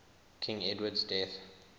king edward's death